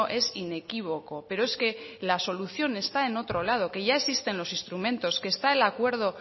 es inequívoco pero es que la solución está en otro lado que ya existen los instrumentos que está el acuerdo